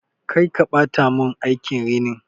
Karki ɓata mun aikin rinin!